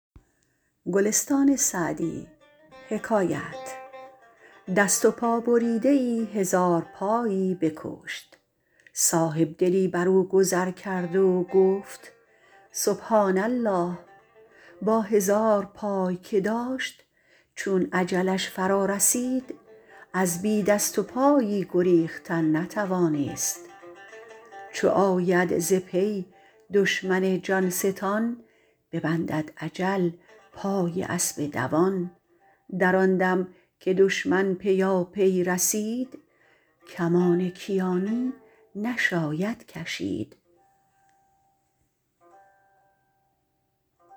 دست و پا بریده ای هزارپایی بکشت صاحبدلی بر او گذر کرد و گفت سبحٰان الله با هزار پای که داشت چون اجلش فرا رسید از بی دست و پایی گریختن نتوانست چو آید ز پی دشمن جان ستان ببندد اجل پای اسب دوان در آن دم که دشمن پیاپی رسید کمان کیانی نشاید کشید